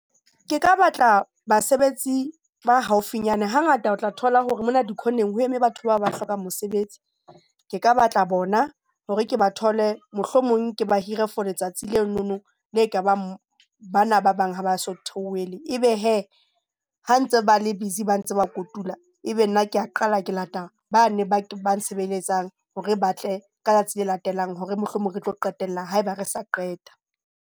Ke ka batla basebetsi ba haufinyane hangata o tla thola hore mona dikhoneng ho eme batho ba ba hlokang mosebetsi, Ke ka batla bona hore ke ba thole mohlomong ke ba hire for letsatsi lena le ka bang bana ba bang ha ba so theohele, e be hee ha ntse ba le busy ba ntse ba kotula. E be nna ke a qala ke lata bane ba nsebeletsang hore ba tle ka tsatsi le latelang, hore mohlomong re tlo qetella haeba re sa qeta.